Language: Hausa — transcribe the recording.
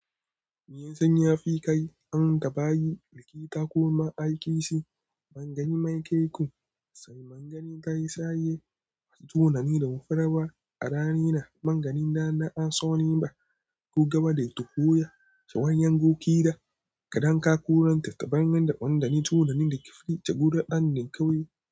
Miyan sanyi ya fi kai an da bayi, likita ko ma'aikaci. Mangani mai kaiku, sanyi mangani ta yi sayaye, tunani da mafarau a rana mangani na na an so ni ba. Ku gama da tukunya, shawayan gogida, gadon kakunan tattabaran da ɓandani tunanin da kifaye gudu ɗan ne kauye.